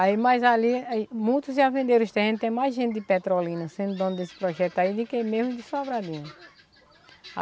Aí, mas ali, muitos já venderam os terrenos, tem mais gente de petrolina sendo dona desse projeto aí do que mesmo de Sobradinho.